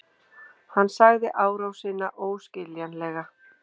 Hann sagði árásina óskiljanlega